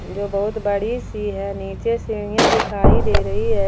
जो बहुत बड़ी सी है नीचे सीढ़ियां दिखाई दे रही है।